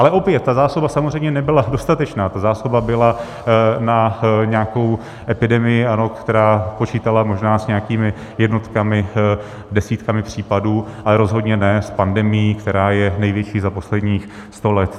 Ale opět - ta zásoba samozřejmě nebyla dostatečná, ta zásoba byla na nějakou epidemii, která počítala možná s nějakými jednotkami, desítkami případů, ale rozhodně ne s pandemií, která je největší za posledních sto let.